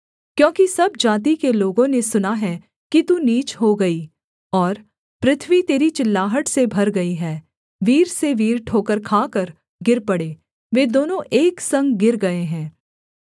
क्योंकि सब जाति के लोगों ने सुना है कि तू नीच हो गई और पृथ्वी तेरी चिल्लाहट से भर गई है वीर से वीर ठोकर खाकर गिर पड़े वे दोनों एक संग गिर गए हैं